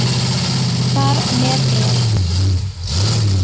Þar með er